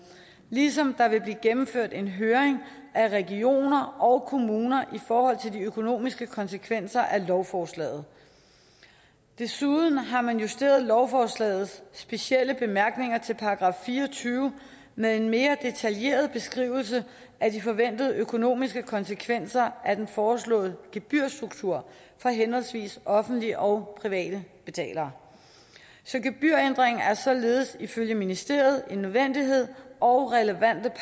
ligesom der vil blive gennemført en høring af regioner og kommuner i forhold til de økonomiske konsekvenser af lovforslaget desuden har man justeret lovforslagets specielle bemærkninger til § fire og tyve med en mere detaljeret beskrivelse af de forventede økonomiske konsekvenser af den foreslåede gebyrstruktur for henholdsvis offentlige og private betalere gebyrændringen er således ifølge ministeriet en nødvendighed og relevante